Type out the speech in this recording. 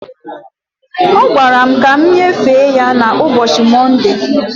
Ọ gwara m ka m nyefee ya na ụbọchi Mọnde